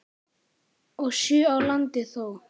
og sjö á landi þó.